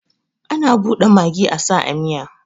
Ana bude magi asa a miya